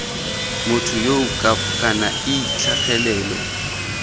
motho yoo kana ii tlhagelelo